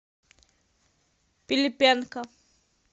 пилипенко